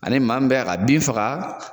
Ani maa min bɛ k'a ka bin faga.